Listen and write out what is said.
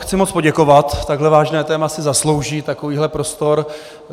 Chci moc poděkovat, takhle vážné téma si zaslouží takovýhle prostor.